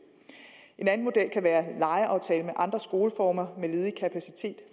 en anden model kan være en lejeaftale med andre skoleformer med ledig kapacitet